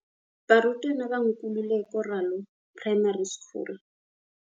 Barutwana ba Nkululeko Ralo Primary School.